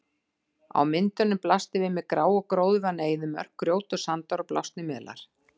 Á myndunum blasti við mér grá og gróðurvana eyðimörk, grjót og sandar og blásnir melar.